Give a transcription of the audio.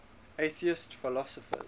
atheist philosophers